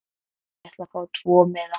Ég ætla að fá tvo miða.